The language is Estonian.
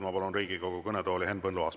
Ma palun Riigikogu kõnetooli Henn Põlluaasa.